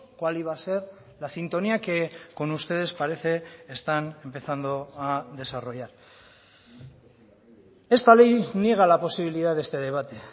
cuál iba a ser la sintonía que con ustedes parece están empezando a desarrollar esta ley niega la posibilidad de este debate